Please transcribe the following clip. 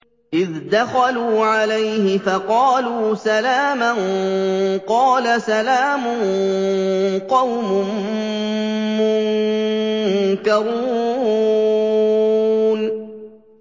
إِذْ دَخَلُوا عَلَيْهِ فَقَالُوا سَلَامًا ۖ قَالَ سَلَامٌ قَوْمٌ مُّنكَرُونَ